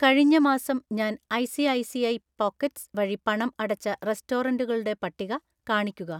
കഴിഞ്ഞ മാസം ഞാൻ ഐ.സി.ഐ.സി.ഐ പോക്കറ്റ്‌സ് വഴി പണം അടച്ച റെസ്റ്റോറന്റുകളുടെ പട്ടിക കാണിക്കുക